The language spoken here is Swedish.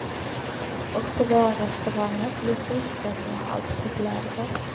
Och på våra restauranger blir fiskrätterna allt populärare.